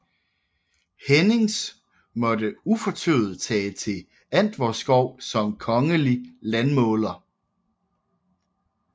Hennings måtte ufortøvet tage til Antvorskov som kongelig landmåler